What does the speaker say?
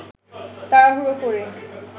তাড়াহুড়ো করে